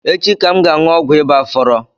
Echi ka m ga anụ ọgwụ ịba fọrọ